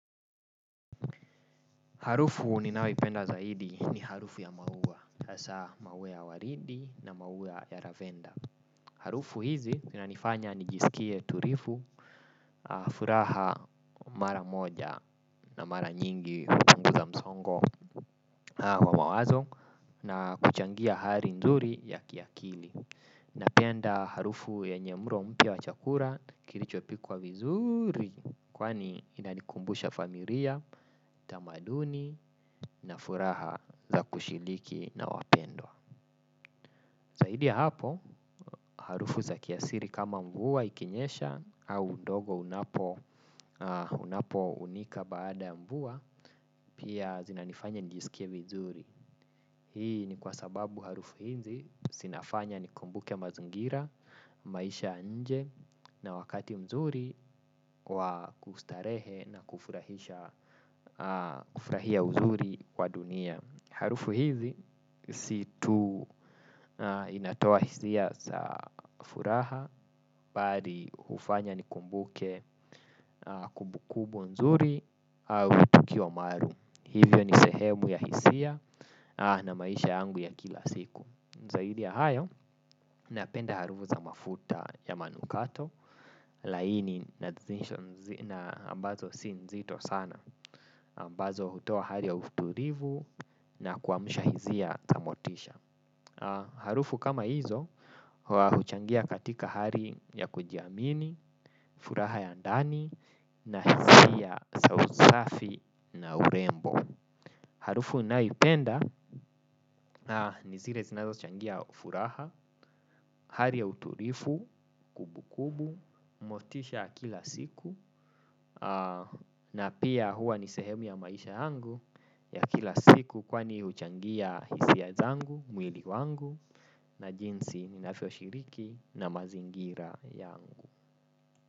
Harufu ninayo ipenda zaidi ni harufu ya maua, hasa maua ya waridi na maua ya lavenda. Harufu hizi zinanifanya ni jisikie tulivu, furaha mara moja na mara nyingi kupunguza msongo wa mawazo na kuchangia hali nzuri ya kiakili. Napenda harufu yenye mlo mpya wa chakula kilichopikwa vizuri kwani inanikumbusha familia, tamaduni na furaha za kushiriki na wapendwa. Zaidi ya hapo harufu za kiasili kama mvua ikinyesha au udongo unapo unika baada ya mvua pia zinanifanya nijisikie vizuri. Hii ni kwa sababu harufu hizi zinafanya ni kumbuke mazingira, maisha ya nje na wakati mzuri kwa kustarehe na kufurahia uzuri wa dunia. Harufu hizi situ inatoa hisia za furaha bali hufanya nikumbuke kumbukumbu nzuri au tukii wa maalum. Hivyo ni sehemu ya hisia na maisha yangu ya kila siku. Zaidi ya hayo, napenda harufu za mafuta ya manukato. Laini na ambazo si nzito sana ambazo hutoa harli ya utulivu na kuamusha hisia za motisha. Harufu kama hizo huchangia katika hali ya kujiamini, furaha ya ndani na hisia sa usafi na urembo. Harufu ninayo ipenda ni zile zinazo changia furaha, hali ya utulivu, kumbukumbu, motisha ya kila siku. Na pia huwa ni sehemu ya maisha yangu ya kila siku kwani huchangia hisia zangu mwili wangu na jinsi ninavyo shiriki na mazingira yangu.